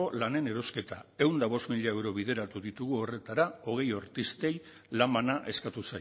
lanen erosketa ehun eta bost mila euro bideratu ditugu horretara hogei artistei lan bana eskatu